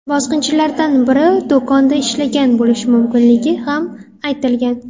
Bosqinchilardan biri do‘konda ishlagan bo‘lishi mumkinligi ham aytilgan.